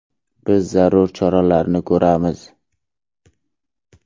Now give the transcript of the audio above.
Biz zarur choralarni ko‘ramiz.